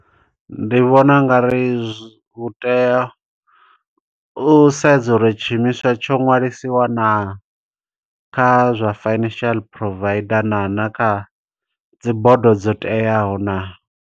Ndi vhona ungari zwi hu tea, u sedza uri tshiimiswa tsho nwalisiwa naa, kha zwa financial provider na na kha dzibodo dzo teaho naa.